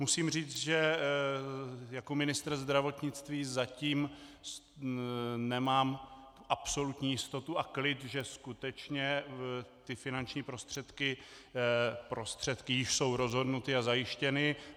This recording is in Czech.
Musím říct, že jako ministr zdravotnictví zatím nemám absolutní jistotu a klid, že skutečně ty finanční prostředky již jsou rozhodnuty a zajištěny.